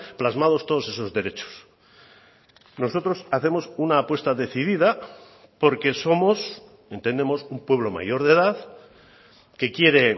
plasmados todos esos derechos nosotros hacemos una apuesta decidida porque somos entendemos un pueblo mayor de edad que quiere